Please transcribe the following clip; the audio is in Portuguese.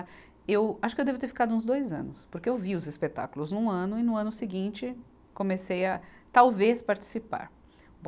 Eu acho que eu devo ter ficado uns dois anos, porque eu vi os espetáculos num ano e, no ano seguinte, comecei a, talvez, participar. Bom